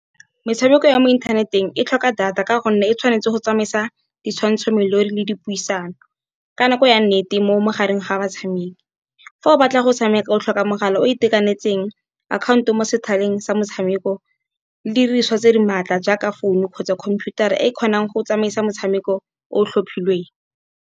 Metshameko ya mo inthaneteng e tlhoka data, ka gonne e tshwanetse go tsamaisa ditshwantsho le dipuisano, ka nako ya nnete mo magareng ga ba tshameki. Fa o batla go tshameka o tlhoka mogala o itekanetseng, akhaonto mo sethaleng sa motshameko le di diriswa tse di maatla, jaaka phone-u kgotsa computer-a, e kgonang go tsamaisa motshameko o tlhophilweng.